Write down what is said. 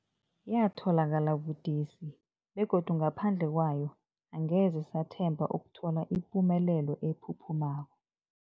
Yatholakala budisi, begodu ngaphandle kwayo angeze sathemba ukuthola ipumelelo ephuphumako.